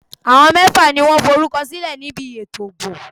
Àwọn ẹgbẹ́ mẹ́fà lo forúkọ sílẹ̀ ní bi ètò ìbò.